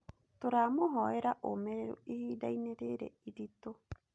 Tũramũhoera ũũmĩrĩrũ ihinda-inĩ rĩrĩ iritũ.